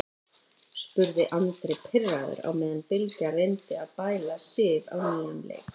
spurði Andri pirraður á meðan Bylgja reyndi að bæla Sif á nýjan leik.